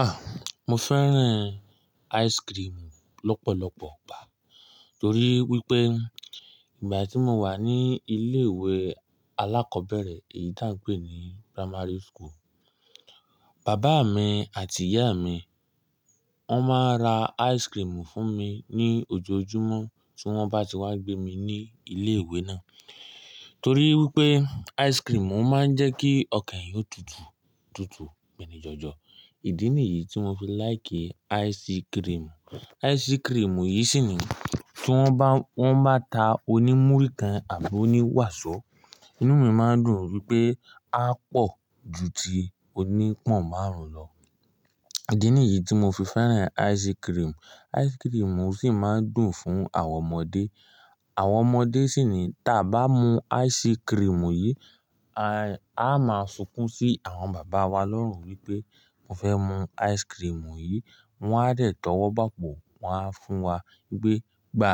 Ah! Mo fẹ́ràn ice cream lọ́pọ̀lọpọ̀ gbá. Torí wípé ìgbà tí mo wà ní ilé ìwé alákọ̀ọ́bẹ̀rẹ̀ èyí tí a ń pè ní primary school, bàbá mi àti ìyá mi, wọn máa ń ra ice cream fún mi ní ojoojúmọ́ tí wón bá ti wá gbé mi ní ilé ìwé náà. Torí wípé ice cream máa ń jẹ́ kí ọkàn ẹyan o tutù, tutù, gbẹ́nì jọjọ. Ìdí nìyí tí mo fi like ice cream. Ice cream yìí sì ni tí wón bá, wón bá ta oní múrí kan àbí oní wàsó, inú mi máa ń dùn wípé á pọ̀ ju ti oní pọ̀n márùn-ún lọ. Ìdí nìyí tí mo fi fẹ́ràn ice cream. Ice cream sì máa ń dùn fún àwọn ọmọdé. Àwọn ọmọdé sì ni tí a bá mú ice cream yìí, a, a máa sunkún sí àwọn bàbá wa lórun wípé mo fẹ́ mú ice cream yìí. Wọn á dẹ̀ tówó bápo, wọ́n á fún wa wípé "gbá